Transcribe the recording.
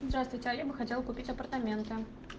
здравствуйте а я бы хотел купить апартаменты